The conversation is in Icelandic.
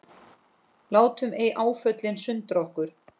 Látum ei áföllin sundra okkur.